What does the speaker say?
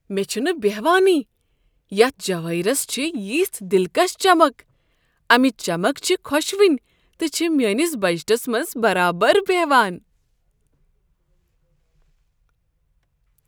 مےٚ چھنہٕ بہوانٕے یتھ جوٲہِرس چھےٚ یژھ دلکش چمک۔ امِچ چمک چھےٚ خۄشوٕنۍ تہٕ چھِ میٛٲنس بجٹس منٛز برابر بہوان۔